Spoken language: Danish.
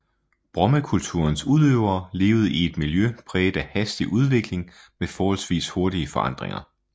Brommekulturens udøvere levede i et miljø præget af hastig udvikling med forholdsvis hurtige forandringer